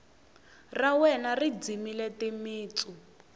ra wena ri dzimile timitsu